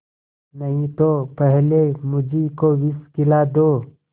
नहीं तो पहले मुझी को विष खिला दो